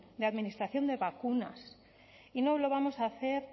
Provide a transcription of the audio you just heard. de administración de vacunas y no lo vamos a hacer